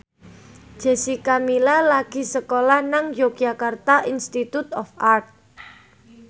Jessica Milla lagi sekolah nang Yogyakarta Institute of Art